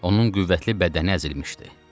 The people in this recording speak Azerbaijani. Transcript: Onun qüvvətli bədəni əzilmişdi.